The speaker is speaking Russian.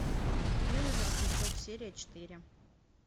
белый воротничок серия четыре